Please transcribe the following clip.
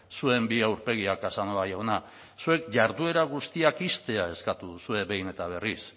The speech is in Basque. zuen bi aurpegiak casanova jauna zuek jarduera guztiak ixtea eskatu duzue behin eta berriz